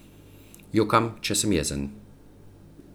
Jokam, če sem jezen.